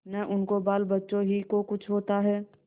न उनके बालबच्चों ही को कुछ होता है